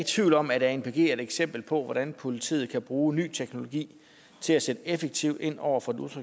tvivl om at anpg er et eksempel på hvordan politiet kan bruge ny teknologi til at sætte effektivt ind over for den